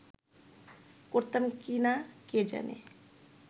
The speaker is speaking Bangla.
করতাম কি না কে জানে